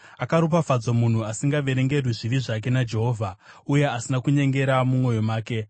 Akaropafadzwa munhu asingaverengerwi zvivi zvake naJehovha, uye asina kunyengera mumwoyo make.